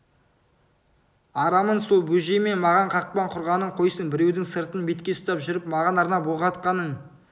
арамың сол бөжей маған қақпан құрғанын қойсын біреудің сыртын бетке ұстап жүріп маған арнап оқ атқанын